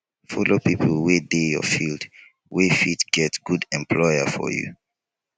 follow pipo wey dey your field wey fit get good employer for you